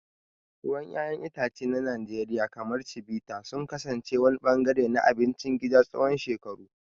Ruwan 'ya'yan itace na Najeriya, kamar Chivita, sun kasance wani ɓangare na abincin gida tsawon shekaru.